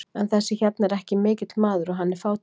En þessi hérna er ekki mikill maður og hann er fátækur.